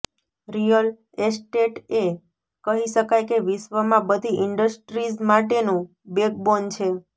real estate એ કહી શકાય કે વિશ્ર્વમાં બધી ઇન્ડસ્ટ્રીઝ માટેનું બેકબોન છે